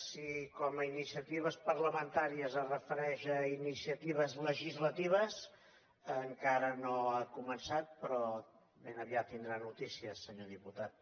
si com a iniciatives parlamentàries es refereix a iniciatives legislatives encara no ha començat però ben aviat tindrà notícies senyor diputat